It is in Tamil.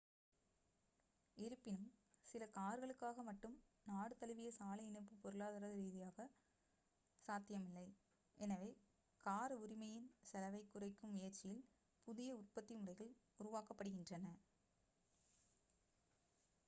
இருப்பினும் சில கார்களுக்காக மட்டும் நாடு தழுவிய சாலை இணைப்பு பொருளாதார ரீதியாக சாத்தியமில்லை எனவே கார் உரிமையின் செலவைக் குறைக்கும் முயற்சியில் புதிய உற்பத்தி முறைகள் உருவாக்கப்படுகின்றன